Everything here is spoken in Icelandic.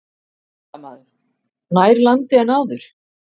Fréttamaður: Nær landi en áður?